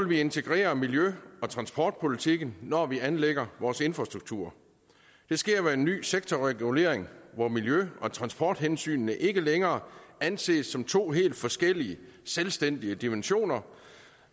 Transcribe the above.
vi integrere miljø og transportpolitikken når vi anlægger vores infrastruktur det sker ved en ny sektorregulering hvor miljø og transporthensynene ikke længere anses som to helt forskellige selvstændige dimensioner